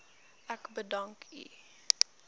ek u bedank